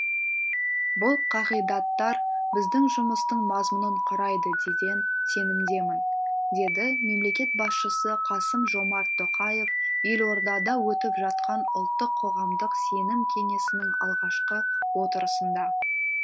бұл қағидаттар біздің жұмыстың мазмұнын құрайды деген сенімдемін деді мемлекет басшысы қасым жомарт тоқаев елордада өтіп жатқан ұлттық қоғамдық сенім кеңесінің алғашқы отырысында